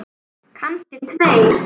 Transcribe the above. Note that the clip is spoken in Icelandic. Kannski tveir.